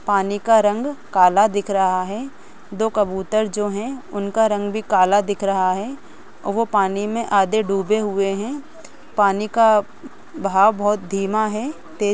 पानी का रंग काला दिख रहा है दो कबूतर जो है उनका रंग भी काला दिख रहा है और वो पानी मे आधे डुबे हुए है पानी का बहाव बहुत धीमा है तेज --